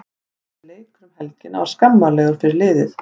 Þessi leikur um helgina var skammarlegur fyrir liðið.